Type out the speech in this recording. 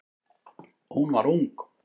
Hún var ung.